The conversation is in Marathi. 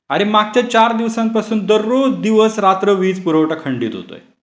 अरे मागच्या चार दिवसांपासून दररोज दिवस रात्र वीज पुरवठा खंडित होतोय .